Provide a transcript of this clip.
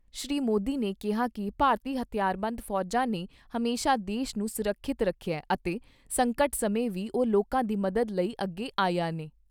ਸ਼੍ਰੀ ਮੋਦੀ ਨੇ ਕਿਹਾ ਕਿ ਭਾਰਤੀ ਹਥਿਆਰਬੰਦ ਫੌਜਾਂ ਨੇ ਹਮੇਸ਼ਾ ਦੇਸ਼ ਨੂੰ ਸੁਰੱਖਿਅਤ ਰੱਖਿਐ ਅਤੇ ਸੰਕਟ ਸਮੇਂ ਵੀ ਉਹ ਲੋਕਾਂ ਦੀ ਮਦਦ ਲਈ ਅੱਗੇ ਆਈਆਂ ਨੇ।